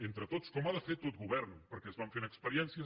entre tots com ha de fer tot govern perquè es van fent experiències